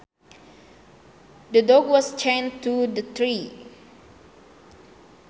The dog was chained to the tree